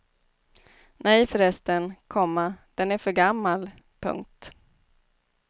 Nej förresten, komma den är för gammal. punkt